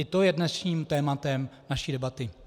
I to je dnešním tématem naší debaty.